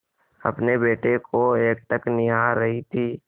अपने बेटे को एकटक निहार रही थी